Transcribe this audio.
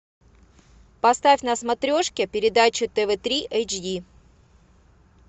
поставь на смотрешке передачу тв три эйч ди